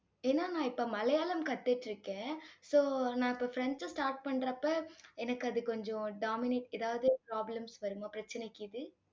ஏன்னா நான் இப்ப மலையாளம் கத்துட்டிருக்கேன். so நான் இப்ப பிரெஞ்சும் start பண்றப்ப, எனக்கு அது கொஞ்சம் dominate ஏதாவது problems வருமா பிரச்சனை